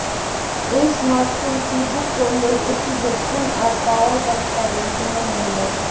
এই smartphone prebook করলেই একটি হেডফোন আর পাওয়ার ব্যাঙ্ক পাবেন বিনামূল্যে